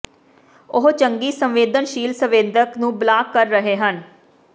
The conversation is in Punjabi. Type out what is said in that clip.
ਉਹ ਚੰਗੀ ਸੰਵੇਦਨਸ਼ੀਲ ਸੰਵੇਦਕ ਨੂੰ ਬਲਾਕ ਕਰ ਰਹੇ ਹਨ